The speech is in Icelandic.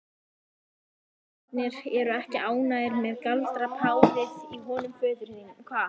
Bergbúarnir eru ekki ánægðir með galdrapárið í honum föður þínum.